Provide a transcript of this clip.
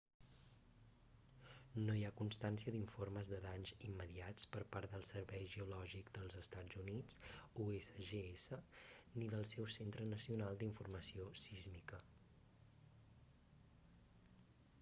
no hi ha constància d'informes de danys immediats per part del servei geològic dels estats units usgs ni del seu centre nacional d'informació sísmica